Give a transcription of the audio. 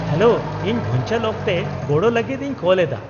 -Hello, ᱤᱧ ᱵᱷᱩᱧᱪᱟᱹᱞ ᱚᱠᱛᱮ ᱜᱚᱲᱚ ᱞᱟᱹᱜᱤᱫ ᱤᱧ ᱠᱚᱞ ᱮᱫᱟ ᱾